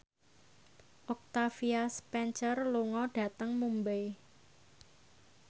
Octavia Spencer lunga dhateng Mumbai